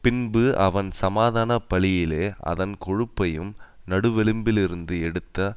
பின்பு அவன் சமாதான பலியிலே அதன் கொழுப்பையும் நடுவெலும்பிலிருந்து எடுத்த